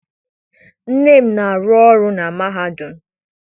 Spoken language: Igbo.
Nne m na-arụ ọrụ na mahadum.